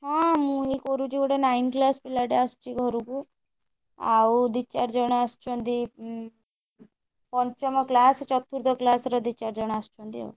ହଁ ମୁଁ ଏଇ କରୁଛି ଗୋଟେ nine class ପିଲାଟା ଆସିଛି ଘରକୁ ଆଉ ଦି ଚାରି ଜଣ ଆସୁଛନ୍ତି ଉଁ ପଞ୍ଚମ class ଚତୁର୍ଥ class ର ଦି ଚାରି ଜଣ ଆସୁଛନ୍ତି ଆଉ।